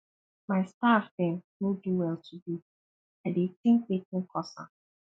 my staff dem no do well today i dey tink wetin cause am